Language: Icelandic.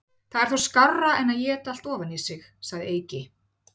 Það er þó skárra en éta allt ofan í sig, segir Eiki.